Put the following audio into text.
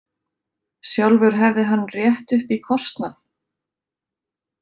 Sjálfur hefði hann rétt upp í kostnað.